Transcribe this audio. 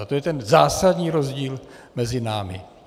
Ale to je ten zásadní rozdíl mezi námi.